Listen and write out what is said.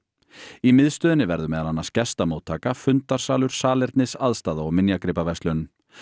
í miðstöðinni verður meðal annars gestamóttaka fundarsalur salernisaðstaða og minjagripaverslun